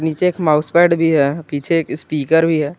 नीचे एक mouse pad भी है पीछे एक स्पीकर भी है।